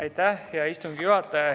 Aitäh, hea istungi juhataja!